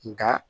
Nka